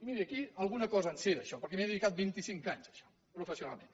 miri aquí alguna cosa en sé d’això perquè m’hi he dedicat vinti cinc anys a això professionalment